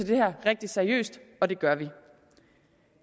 det her rigtig seriøst og det gør vi